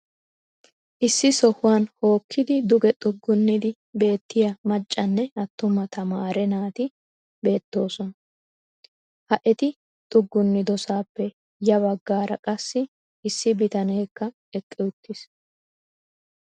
issi sohuwan hookkiiddi duge xuggunnidi beettiya maccanne attuma tamaare naati beettoosona. ha eti xuggunnidosaappe ya bagaara qassi issi bitaneekka eqqi uttiis.